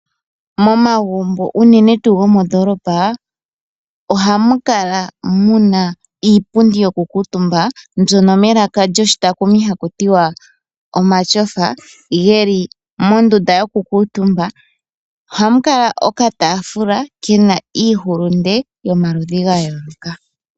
Momagumbo unene tuu gomondoolopa ohamu kala mu na iipundi yokukuutumba mbyoka haku ti wa omatyofa ge li mondunda yokukuutumba. Ohamu kala okataafula ke na iihulunde yomaludhi ga yooloka.